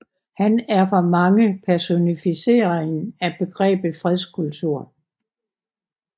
Han er for mange personificeringen af begrebet fredskultur